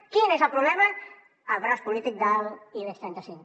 quin és el problema el braç polític de l’ibex trenta cinc